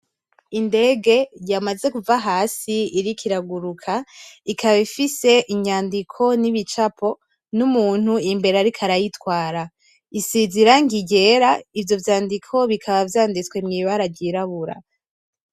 Indege yamaze kuva hasi iriko iraguruka ikaba ifise inyandiko nibicapo n'umuntu imbere ariko arayitwara. Isize irangi ryera, ivyo vyandiko bikaba vyanditse mw'ibara ryirabura.